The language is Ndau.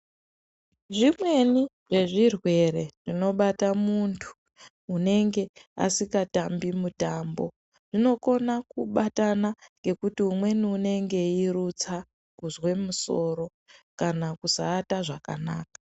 Zvimweni zvezvirwere zvinobata muntu unenge asikatambi mutambo zvinokona kubatana ngekuti umweni unenge eirutsa, kuzwe musoro, kana kusaata zvakanaka.